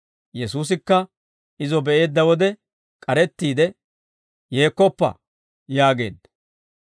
Yesuusikka izo be'eedda wode k'arettiide, «Yeekkoppa!» yaageedda.